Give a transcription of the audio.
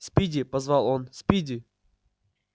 спиди позвал он спиди